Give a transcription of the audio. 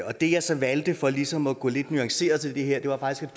og det jeg så valgte for ligesom at gå lidt nuanceret til det her var faktisk